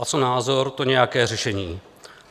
A co názor, to nějaké řešení.